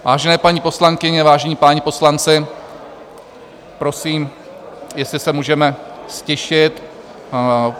Vážené paní poslankyně, vážení páni poslanci, prosím, jestli se můžeme ztišit.